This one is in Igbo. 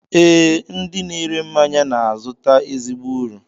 Ee, ndị na-ere mmanya na-azụta ezigbo uru